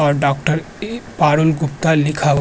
और डॉक्टर पारुल गुप्ता लिखा हु --